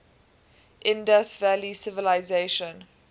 indus valley civilization